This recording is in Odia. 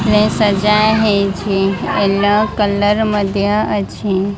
ନେଇ ସଜାହେଇଛି ୟେଲୋ କଲର୍ ମଧ୍ୟ ଅଛି।